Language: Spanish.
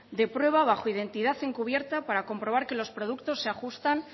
de prueba bajo identidad encubierta para comprobar que los productos se ajustan